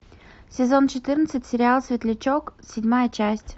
сезон четырнадцать сериал светлячок седьмая часть